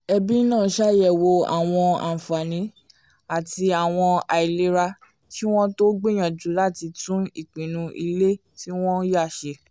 ẹbí náà ṣàyẹ̀wò àwọn àǹfààní àti àwọn àìlera kí wọ́n tó gbìyànjú láti tún ìpinnu ilé tí wọ́n yá ṣe